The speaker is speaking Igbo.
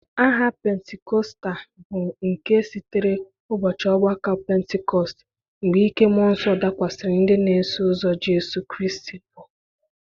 Aha Pentikọsta bụ nke sitere ụbọchị ọgbako Pentikọst, mgbe ike Mụọ Nsọ dakwasịrị ndị na-eso ụzọ Jizọs Kraịst. Bu